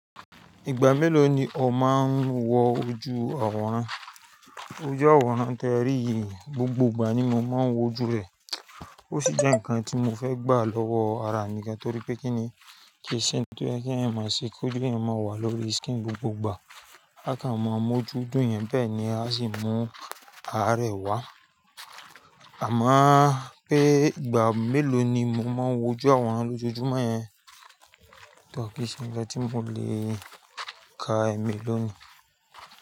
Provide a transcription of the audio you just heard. Ìgbà mélòó ni ọ máa ń wọ ojú àwòrán? Ojú àwòrán te ri yìí, gbogbo ìgbà ni mo máa ń wọ ojú rẹ̀. Ó sì jẹ́ nǹkan tí mo fẹ́ gbà lọ́wọ́ ara mi gan, torí pé kí ni kí ṣe? Nkan tí o ye ki eeyan máa ṣe koju eeyan máa wà lórí screen n gbogbo ìgbà. Akan mọ̀ ọmọ ojú dùnyan ni bẹ́ẹ̀ ni a sì mú ara rẹ̀ wá. Àmọ́ pé ìgbà mélòó ni mo máa ń wọ ojú àwòrán lójoojúmọ́ yẹn, tọ́ kí n se nkan tí mo lè ka ẹ̀ meeló nìí?